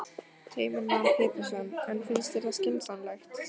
Heimir Már Pétursson: En finnst þér það skynsamlegt?